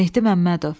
Mehdi Məmmədov.